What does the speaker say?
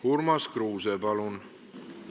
Urmas Kruuse, palun!